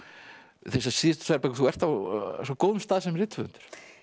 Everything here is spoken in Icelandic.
þessar síðustu tvær bækur þú ert á svo góðum stað sem rithöfundur